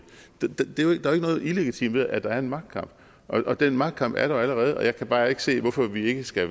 der er noget illegitimt ved at der er en magtkamp og den magtkamp er der allerede og jeg kan bare ikke se hvorfor vi ikke skal